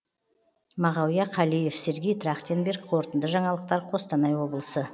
мағауия қалиев сергей трахтенберг қорытынды жаңалықтар қостанай облысы